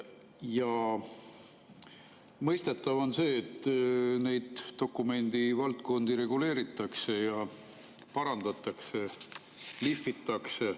Ja on mõistetav, et neid dokumendivaldkondi reguleeritakse ja parandatakse, lihvitakse.